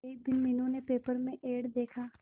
एक दिन मीनू ने पेपर में एड देखा